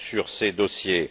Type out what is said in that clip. ces dossiers.